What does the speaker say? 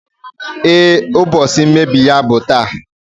Ee, ụbọchị mmebi ya bụ taa